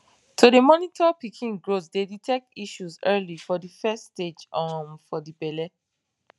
to dey monitor pikin growth dey detect issues early for de first stage um for de belle